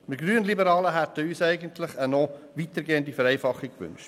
Die Grünliberalen hätten sich eigentlich eine noch weiter gehende Vereinfachung gewünscht.